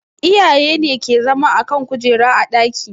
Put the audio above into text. Iyaye ne ke zama a kan kujera a ɗaki